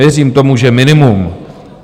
Věřím tomu, že minimum.